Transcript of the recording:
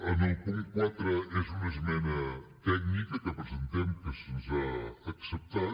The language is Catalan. en el punt quatre és una esmena tècnica que presentem que se’ns ha acceptat